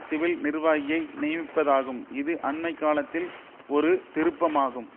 civil நிர்வாகியை நியமிப்பதாகும் இது அண்மை காலத்தில் ஒரு திருப்பமாகும்